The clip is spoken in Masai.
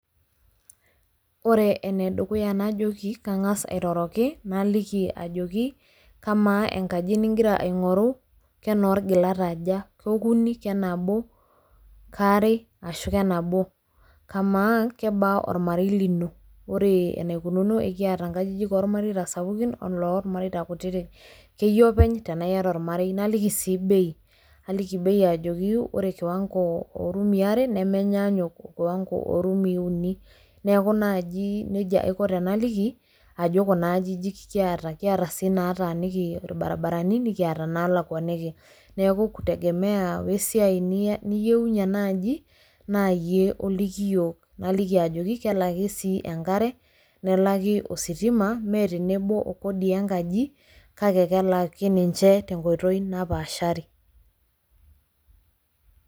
Ore enedukuya najoki kang'as airoroki naliki ajoki kamaa enkaji nigira aing'oru kenoolgilat aja? Kokuni, kenabo, kaare ashu kenabo ? Kamaa, kebaa olmarei lino? Ore eneikununo ekiata inkajijik ormareita sapukin oloolmareita kutiti, keyie openy tenaaiata olmarei naliki sii bei, naliki bei ajoki ore kiwango oorumii are nemenyaanyuk orumii uni neaku najii neija aiko tenaliki ajo kunaajijik kiata, kiata sii naataniki orbarabarani nikiata naalakuaniki neaku kutegemea oesiai niyounye enaaji naayie oliki yiook naliki ajoki kelaki sii enkare nelaki, ositima mee tenebo okodi enkaji kake kelaki ninche tenkoitoi napaashari.